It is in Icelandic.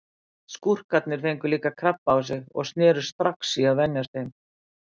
Skúrkarnir fengu líka krabba á sig og snerust strax í að verjast þeim.